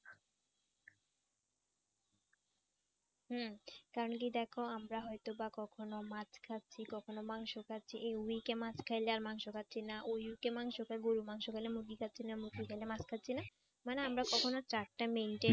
হুঁ কারণ কি দেখো আমরা হয়তোবা কখনো মাছ খাচ্ছি কখনো মাংস খাচ্ছি এই week এ মাছ খাইলে আর মাংস খাচ্ছি না ওই week এ মাংস খাই গরুর মাংস খাইলে মুরগি খাচ্ছি না মুরগি খাইলে মাছ খাচ্ছি না মানে আমরা কখনো chart টা maintain